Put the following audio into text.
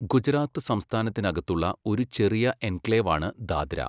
ഗുജറാത്ത് സംസ്ഥാനത്തിനകത്തുള്ള ഒരു ചെറിയ എൻക്ലേവാണ് ദാദ്ര.